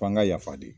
F'an ka yafa deli